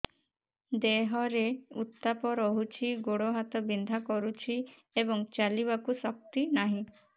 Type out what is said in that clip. ଦେହରେ ଉତାପ ରହୁଛି ଗୋଡ଼ ହାତ ବିନ୍ଧା କରୁଛି ଏବଂ ଚାଲିବାକୁ ଶକ୍ତି ନାହିଁ